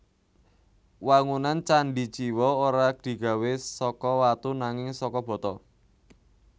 Wangunan candhi Jiwa ora digawé saka watu nanging saka bata